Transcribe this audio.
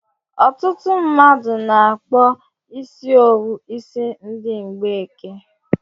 Ọtụtụ mmadụ n'akpọ isi owu isi ndi mgbeke